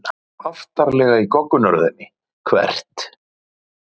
Aftarlega í goggunarröðinni Hvert?